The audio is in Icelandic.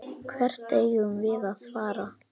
Hvert eigum við að fara?